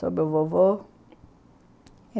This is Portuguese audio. sobre o vovô.